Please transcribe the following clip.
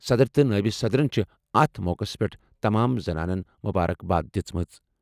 صدر تہٕ نٲیِب صدرَن چھِ اَتھ موقعَس پٮ۪ٹھ تمام زنانَن مبارک باد دِژمٕژ۔